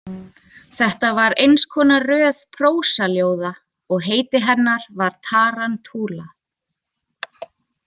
Þetta var eins konar röð prósaljóða og heiti hennar var Tarantula.